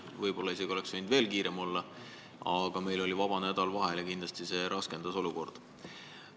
Võib-olla oleks võinud isegi veel kiirem olla, aga meil oli vahepeal vaba nädal ja kindlasti see raskendas olukorda.